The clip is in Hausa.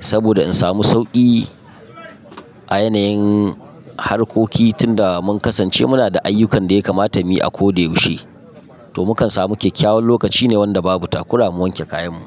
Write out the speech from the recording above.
Saboda in samu sauki a yanayin harkoki tunda mun kasance muna da ayyukan da ya kamata mu yi a ko da yaushe. Toh mu kan samu kyakyawan lokaci ne wanda babu takura mu wanke kayan mu.